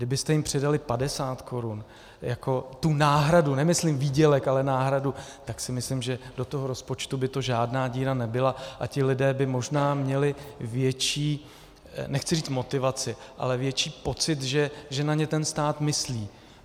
Kdybyste jim přidali 50 korun jako tu náhradu, nemyslím výdělek, ale náhradu, tak si myslím, že do toho rozpočtu by to žádná díra nebyla a ti lidé by možná měli větší, nechci říct motivaci, ale větší pocit, že na ně ten stát myslí.